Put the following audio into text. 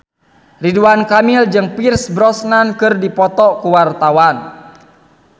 Ridwan Kamil jeung Pierce Brosnan keur dipoto ku wartawan